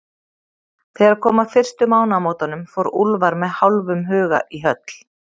Þegar kom að fyrstu mánaðamótunum, fór Úlfar með hálfum huga í höll